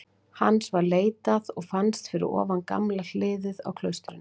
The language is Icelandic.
Hans var leitað og fannst fyrir ofan gamla hliðið á klaustrinu.